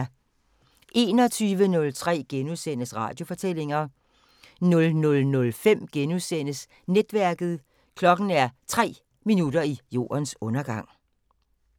21:03: Radiofortællinger * 00:05: Netværket: Klokken er 3 minutter i jordens undergang *